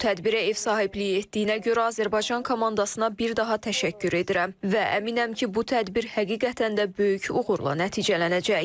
Bu tədbirə ev sahibliyi etdiyinə görə Azərbaycan komandasına bir daha təşəkkür edirəm və əminəm ki, bu tədbir həqiqətən də böyük uğurla nəticələnəcək.